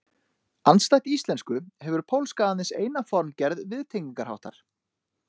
Andstætt íslensku hefur pólska aðeins eina formgerð viðtengingarháttar.